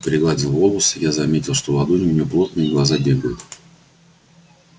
пригладил волосы я заметил что ладони у него потные и глаза бегают